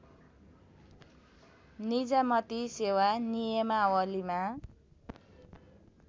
निजामती सेवा नियमावलीमा